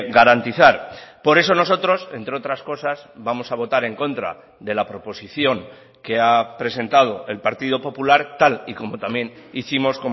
garantizar por eso nosotros entre otras cosas vamos a votar en contra de la proposición que ha presentado el partido popular tal y como también hicimos